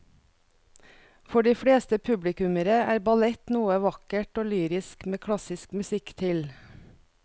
For de fleste publikummere er ballett noe vakkert og lyrisk med klassisk musikk til.